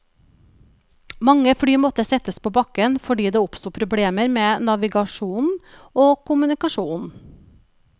Mange fly måtte settes på bakken fordi det oppsto problemer med navigasjonen og kommunikasjonen.